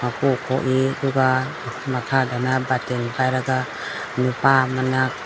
ꯑꯗꯨꯒ ꯃꯈꯥꯗꯅ ꯕꯥꯇꯤꯟ ꯄꯥꯏꯔꯒ ꯅꯨꯄꯥ ꯑꯃꯅ --